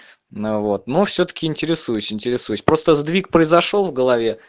на вот ну всё-таки интересуюсь интересуюсь просто сдвиг произошёл в голове